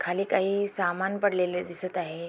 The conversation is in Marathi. खाली काही सामान पडलेले दिसत आहे.